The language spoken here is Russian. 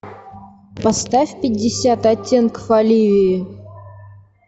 поставь пятьдесят оттенков оливии